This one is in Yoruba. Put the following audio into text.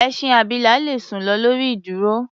Ẹṣin abilà le sùn lọ lórí ìdúró.